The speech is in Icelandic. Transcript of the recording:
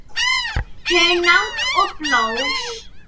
Hunang og blóð